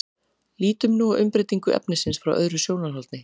lítum nú á umbreytingu efnisins frá öðrum sjónarhóli